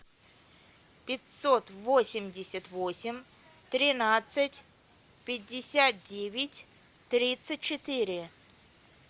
пятьсот восемьдесят восемь тринадцать пятьдесят девять тридцать четыре